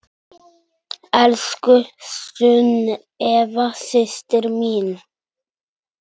Elsku Sunneva systir mín.